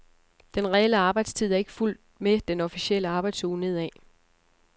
Den reelle arbejdstid er ikke fulgt med den officielle arbejdsuge nedad.